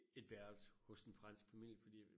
Et værelse hos en fransk familie fordi